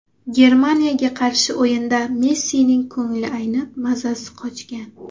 Germaniyaga qarshi o‘yinda Messining ko‘ngli aynib, mazasi qochgan.